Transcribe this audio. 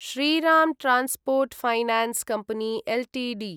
Shriram transport finance company Ltd